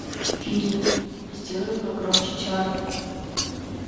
фильм сделай погромче чарли